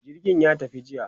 jirgin ya tafi jiya